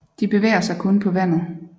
De bevæger sig kun på vandet